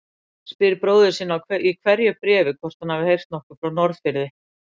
Spyr bróður sinn í hverju bréfi hvort hann hafi heyrt nokkuð frá Norðfirði.